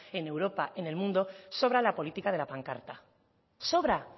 en europa en el mundo sobra la política de la pancarta sobra